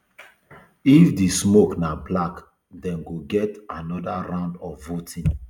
if di smoke na black dem go get anoda round of voting